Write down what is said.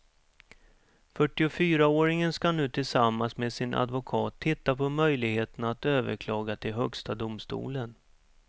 Fyrtiofyraåringen ska nu tillsammans med sin advokat titta på möjligheterna att överklaga till högsta domstolen.